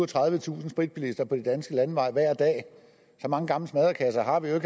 tredivetusind spritbilister på de danske landeveje hver dag og så mange gamle smadrekasser har vi jo